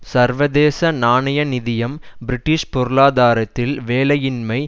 சர்வதேச நாணய நிதியம் பிரிட்டிஷ் பொருளாதாரத்தில் வேலையின்மை